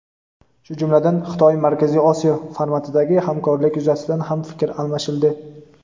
shu jumladan "Xitoy – Markaziy Osiyo" formatidagi hamkorlik yuzasidan ham fikr almashildi.